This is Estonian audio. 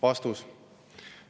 " Vastus.